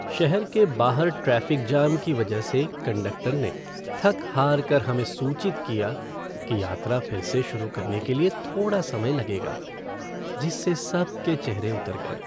शहर के बाहर ट्रैफ़िक जाम की वजह से कंडक्टर ने थक-हारकर हमें सूचित किया कि यात्रा फ़िर से शुरू करने के लिए थोड़ा समय लगेगा जिससे सबके चेहरे उतर गए।